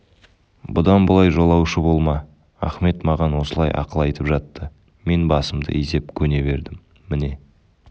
бұдан былай жолаушы болма ахмет маған осылай ақыл айтып жатты мен басымды изеп көне бердім міне